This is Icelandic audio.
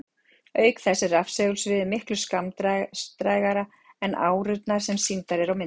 Auk þess er rafsegulsviðið miklu skammdrægara en árurnar sem sýndar eru á myndum.